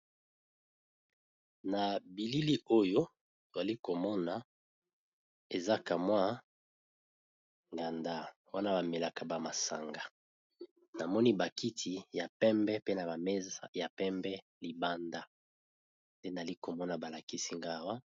Na bilili oyo tozali komona eza kamwa nganda wana bamelaka bamasanga, namoni bakiti ya pembe pe na bameza ya pembe libanda nde nali komona balakisi nga awa.